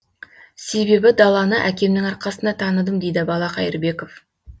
себебі даланы әкемнің арқасында таныдым дейді бала қайырбеков